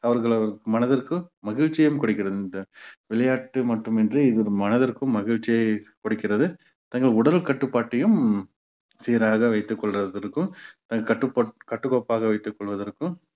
அவர்கள் மனதிற்கு மகிழ்ச்சியையும் கொடுக்கிறது இந்த விளையாட்டு மட்டுமின்றி இது ஒரு மனதிற்கும் மகிழ்ச்சியை கொடுக்கிறது தங்கள் உடல் கட்டுப்பாட்டையும் சீராக வைத்துக் கொள்வதற்கும் அஹ் கட்டுப்பா~ கட்டுக்கோப்பாக வைத்துக் கொள்வதற்கும்